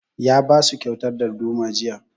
Ya ba su kyautar darduma jiya